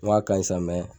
N k'a ka ɲi sa